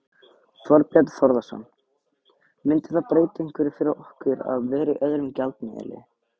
Þorbjörn Þórðarson: Myndi það breyta einhverju fyrir okkur að vera í öðrum gjaldmiðli?